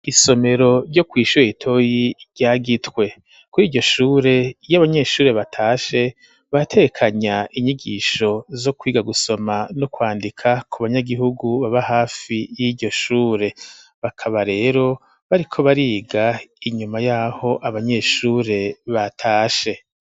Isomero ryo kwishuwa itoyi ryagitwe ku iryo shure iyo abanyeshure batashe batekanya inyigisho zo kwiga gusoma n' kwandika ku banyagihugu baba hafi y'iryo shure bakaba rero bariko bariga inyuma yaho abanyeshure batashe.